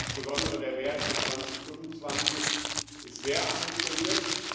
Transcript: Insbesondere der Wert für 2025 ist sehr ambitioniert.